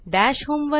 दश होम